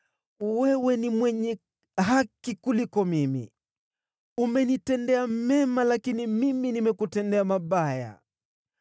“Wewe ni mwenye haki kuliko mimi; umenitendea mema, lakini mimi nimekutendea mabaya.